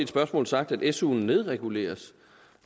spørgsmål sagt at suen nedreguleres